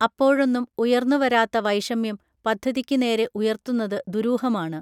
അപ്പോഴൊന്നും ഉയർന്നു വരാത്ത വൈഷമ്യം പദ്ധതിയ്ക്ക് നേരെ ഉയർത്തുന്നത് ദുരൂഹമാണ്